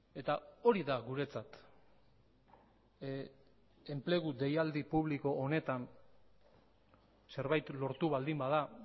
eta hori da guretzat enplegu deialdi publiko honetan zerbait lortu baldin bada